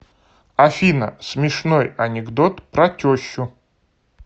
афина смешной анекдот про тещу